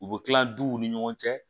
U bɛ tila duw ni ɲɔgɔn cɛ